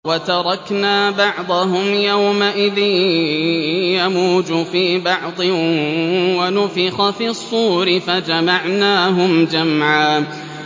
۞ وَتَرَكْنَا بَعْضَهُمْ يَوْمَئِذٍ يَمُوجُ فِي بَعْضٍ ۖ وَنُفِخَ فِي الصُّورِ فَجَمَعْنَاهُمْ جَمْعًا